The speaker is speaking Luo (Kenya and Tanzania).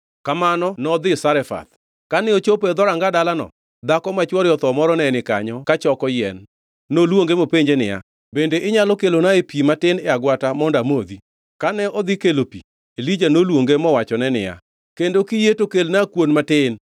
Kamano nodhi Zarefath. Kane ochopo e dhoranga dalano, dhako ma chwore otho moro ne ni kanyo ka choko yien. Noluonge mopenje niya, “Bende inyalo kelonae pi matin e agwata agulu mondo amodhi?”